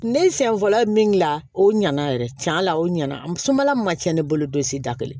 Ne sɛn fɔlɔ ye min gilan o ɲana yɛrɛ tiɲɛ la o ɲɛna musola min ma tiɲɛ ne bolo don si da kelen